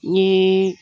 N ye